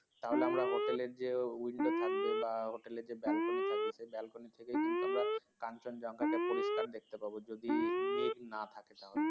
তাহলে হোটেলের যে windo থাকবে বা হোটেলের যে বেলকনি থাকবে সে বেলকনি থেকেই আমরা Kanchenjunga কে পরিষ্কার দেখতে পাবো যদি মেঘ না থাকে তাহলে